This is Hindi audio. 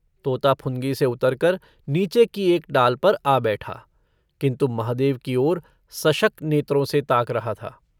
तोता फुनगी से उतरकर नीचे की एक डाल पर आ बैठा किन्तु महादेव की ओर सशक नेत्रों से ताक रहा था।